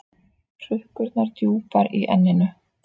Hrukkurnar djúpar í enninu.